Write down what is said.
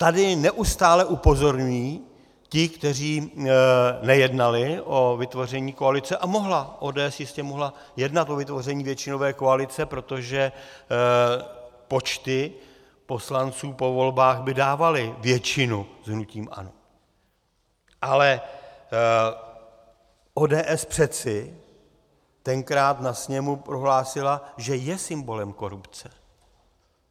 Tady neustále upozorňují ti, kteří nejednali o vytvoření koalice - a mohla, ODS jistě mohla jednat o vytvoření většinové koalice, protože počty poslanců po volbách by dávaly většinu s hnutím ANO, ale ODS přece tenkrát na sněmu prohlásila, že je symbolem korupce.